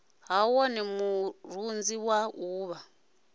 ha wone murunzi wa uvha